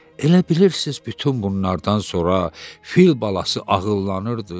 Elə bilirsiz bütün bunlardan sonra fil balası ağıllanırdı?